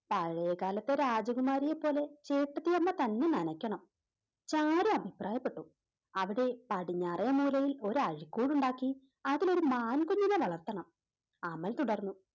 പഴയകാലത്തെ രാജകുമാരിയെ പോലെ ചേട്ടത്തിയമ്മ തന്നെ നനക്കണം ചാരു അഭിപ്രായപ്പെട്ടു അവിടെ പടിഞ്ഞാറേ മൂലയിൽ ഒരഴിക്കുടുണ്ടാക്കി അതിലൊരു മാൻകുഞ്ഞിനെ വളർത്തണം അമൽ തുടർന്ന്